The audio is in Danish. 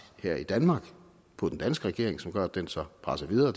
her i danmark på den danske regering som gør at den så presser videre